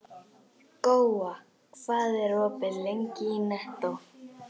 Góa, hvað er opið lengi í Nettó?